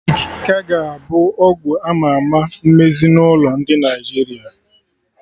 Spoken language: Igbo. Galik ka ga abụ ọgwụ ama ama nMezinụlọ ndị Naịjirịa